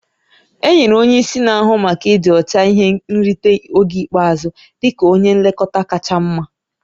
Enyere onye isi na-ahụ maka ịdị ọcha ihe nrite oge ikpeazụ dị ka onye nlekọta kacha mma